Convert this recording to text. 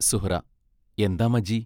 സുഹ്റാ എന്താ മജീ